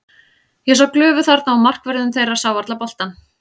Ég sá glufu þarna og markvörðurinn þeirra sá varla boltann.